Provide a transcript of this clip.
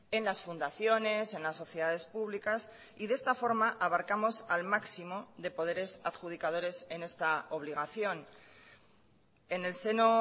en las fundaciones en las sociedades públicas y de esta forma abarcamos al máximo de poderes adjudicadores en esta obligación en el seno